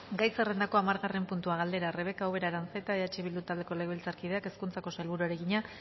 gai zerrendako hamargarren puntua galdera rebeka ubera aranzeta eh bildu taldeko legebiltzarkideak hezkuntzako sailburuari egina